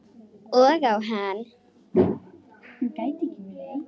Og á hann.